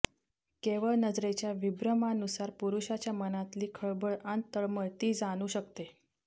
केवळ नजरेच्या विभ्रमानुसार पुरुषाच्या मनातली खळबळ अन् तळमळ ती जाणू शकते